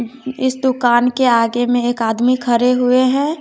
इस दुकान के आगे में एक आदमी खरे हुए हैं।